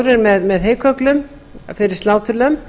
heykögglar fóðri með heykögglum fyrir sláturlömb